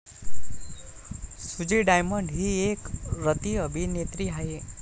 सुजी डायमंड ही एक रतिअभिनेत्री आहे